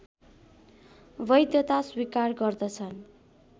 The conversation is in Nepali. वैधता स्वीकार गर्दछन्